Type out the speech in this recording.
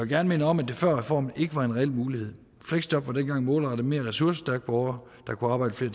gerne minde om at det før reformen ikke var en reel mulighed fleksjob var dengang målrettet mere ressourcestærke borgere der kunne arbejde i